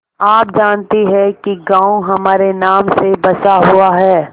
आप जानती हैं कि गॉँव हमारे नाम से बसा हुआ है